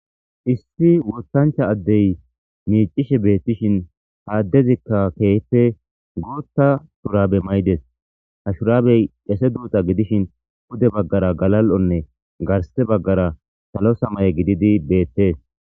Issi woththancha addey miicishe beetishin ha addezikka keehippe guuththa shurabe mayides ha shurabey qese duuxa gidishin pude baggara galal'onne garththe baggara salo samaye gididi beettees.